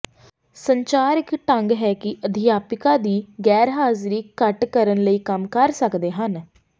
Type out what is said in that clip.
ਸੰਚਾਰ ਇੱਕ ਢੰਗ ਹੈ ਕਿ ਅਧਿਆਪਕਾਂ ਦੀ ਗੈਰਹਾਜ਼ਰੀ ਘੱਟ ਕਰਨ ਲਈ ਕੰਮ ਕਰ ਸਕਦੇ ਹਨ